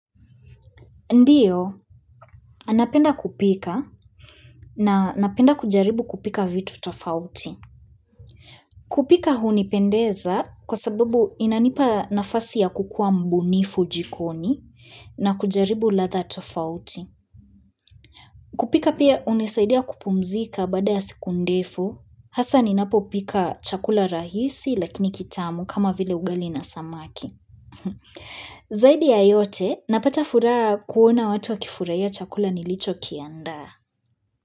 Ndio, napenda kupika na napenda kujaribu kupika vitu tofauti. Kupika hunipendeza kwa sababu inanipa nafasi ya kukuwa mbunifu jikoni na kujaribu ladha tofauti. Kupika pia hunisaidia kupumzika baada ya siku ndefu, hasa ninapopika chakula rahisi lakini kitamu kama vile ugali na samaki. Zaidi ya yote, napata furaha kuona watu wakifurahia chakula nilichokiandaa.